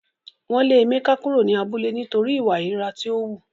Wọn le Emeka kuro ni abule nitori iwa ìríra ti o hu.